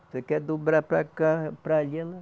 Você quer dobrar para cá, para ali ela